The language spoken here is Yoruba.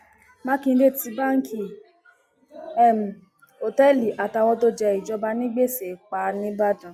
mákindé tí báǹkì um òtẹẹlì àtàwọn tó jẹ ìjọba ní gbèsè pa nìbàdàn um